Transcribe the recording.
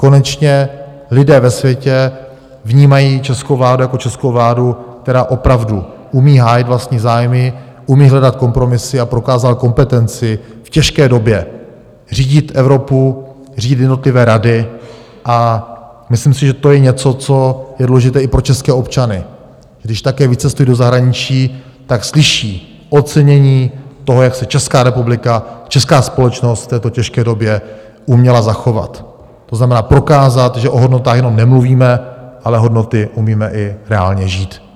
Konečně lidé ve světě vnímají českou vládu jako českou vládu, která opravdu umí hájit vlastní zájmy, umí hledat kompromisy a prokázala kompetenci v těžké době řídit Evropu, řídit jednotlivé rady, a myslím si, že to je něco, co je důležité i pro české občany, když také vycestují do zahraničí, tak slyší ocenění toho, jak se Česká republika, česká společnost v této těžké době uměla zachovat, to znamená prokázat, že o hodnotách jenom nemluvíme, ale hodnoty umíme i reálně žít.